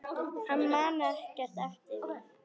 Hann man ekkert eftir því.